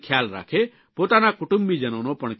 પોતાના કુટુંબીજનોનો પણ ખ્યાલ રાખે